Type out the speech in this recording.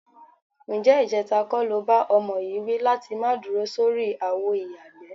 Ǹjé̩ ìje̩ta kó̩ lo bá o̩mo̩ yìí wí láti má dúro sórí àwo ìyàgbẹ́?